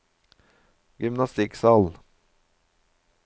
gymnastikksal